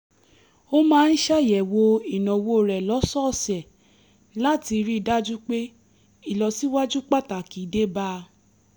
o ma n ṣayẹwo inawo rẹ lọsọọsẹ lati rii daju pe ilọsiwaju pataki debaa